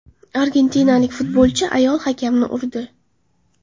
Argentinalik futbolchi ayol hakamni urdi.